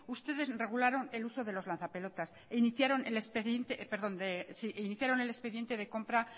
ustedes regularon el uso del lanza pelotas e iniciaron el expediente de compra